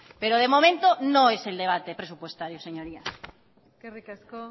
pero de momento no es el debate presupuestario señorías eskerrik asko